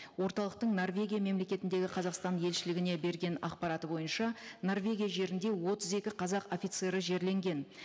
орталықтың норвегия мемлекетіндегі қазақстан елшілігіне берген ақпараты бойынша норвегия жерінде отыз екі қазақ офицері жерленген